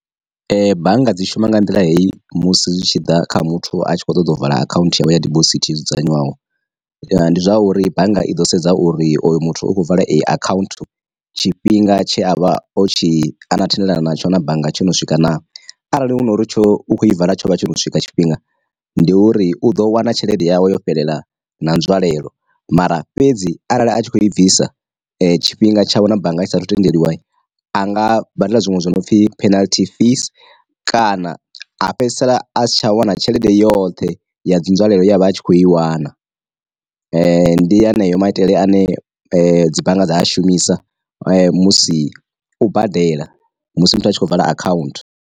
Bannga dzi shuma nga nḓila hei musi zwi tshi ḓa kha muthu a tshi kho ṱoḓa u vula akhaunthu ya vhuya dibosithi ya dzudzanywaho, ndi zwa uri bannga i ḓo sedza uri oyo muthu u khou vala akhaunthu tshifhinga tshe a vha o tshi a na thendelano na tsho na bannga tsho no swika na, arali hu nori tsho u kho i vala tsho vha tsho no swika tshifhinga, ndi uri u ḓo wana tshelede yawu yo fhelela na nzwalelo. Mara fhedzi arali a tshi kho i bvisa tshifhinga tshawe na bannga i saathu tendeliwa a nga badela zwiṅwe zwi no pfi penalty fees, kana a fhedzisela a si tsha wana tshelede yoṱhe ya dzi nzwalelo yavha atshi kho i wana. Ndi yeneyo maitele ane dzi bannga dza a shumisa musi u badela musi muthu a tshi khou vala akhaunthu.